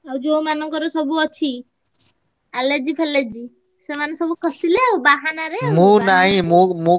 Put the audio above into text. ଆଉ ଯୋଉମାନଙ୍କର ସବୁ ଅଛି allergy ଫାଲର୍ଜୀ ସେମାନେ ସବୁ ଖସିଲେ ଆଉ ବାହାନାରେ ।